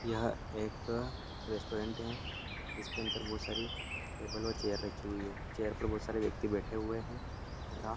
यह एक रेस्टोरेंट है जिसके अन्दर बहुत सारी टेबल व चेयर रखी हई है चेयर पर बहुत सारे व्यक्ति बैठे हुए हैं और यहाँ --